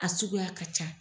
A suguya ka ca.